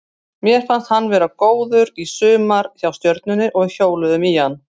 Mér fannst hann vera góður í sumar hjá Stjörnunni og við hjóluðum í hann.